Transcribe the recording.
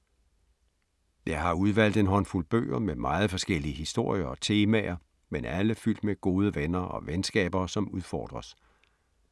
Jeg har udvalgt en håndfuld bøger med meget forskellige historier og temaer, men alle fyldt med gode venner og venskaber som udfordres.